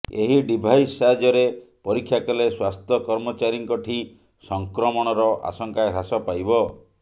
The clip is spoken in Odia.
ଏହି ଡିଭାଇସ୍ ସାହାଯ୍ୟରେ ପରୀକ୍ଷା କଲେ ସ୍ୱାସ୍ଥ୍ୟ କର୍ମଚାରୀଙ୍କଠି ସଂକ୍ରମଣର ଆଶଙ୍କା ହ୍ରାସ ପାଇବ